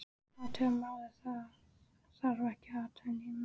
Athuga málið, það þarf ekki að athuga nein mál